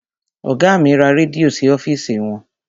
Ọgá mi ra rẹ́díò sí ọ́fìsì wọn.